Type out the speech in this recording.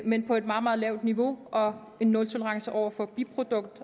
men på et meget meget lavt niveau og er nultolerance over for biprodukt